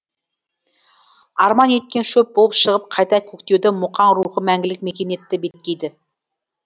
арман еткен шөп болып шығып қайта көктеуді мұқаң рухы мәңгілік мекен етті беткейді